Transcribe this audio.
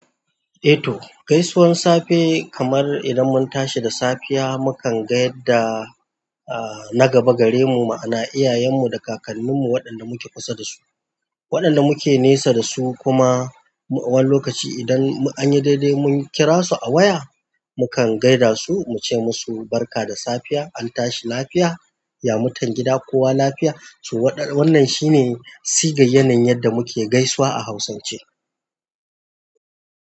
Eh to, gaisuwar safe kamar idan mun tashi da safiya mukan gaida na gaba gare mu ma'ana iyayen mu da kakannin mu waɗanda muke kusa da su, waɗanda muke nesa da su kuma wani lokaci idan an yi daidai mun kira su a waya mukan gaida su muce musu barka da safiya, an tashi lafiya, ya mutan gida kowa lafiya so wataran. Wannan shine sigayanayin yadda muke gaisawa a Hausance.